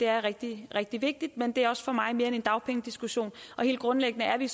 rigtig rigtig vigtigt men det er for mig mere end en dagpengediskussion helt grundlæggende er vi